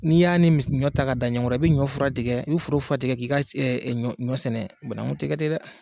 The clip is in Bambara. N'i y'a ni ɲɔ ta ka da ɲɔgɔnkɔrɔ, i bɛ ɲɔ fura tigɛ , i bɛ foro fura tigɛ k' i ka ɲɔ sɛnɛ banaku tɛ kɛ ten dɛ!